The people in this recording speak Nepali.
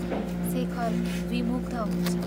शेखर विमुग्ध हुन्छ